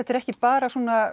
er ekki bara